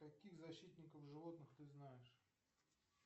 каких защитников животных ты знаешь